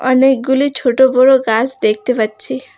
অনেকগুলি ছোট বড় গাস দেখতে পাচ্ছি।